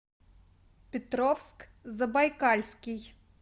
петровск забайкальский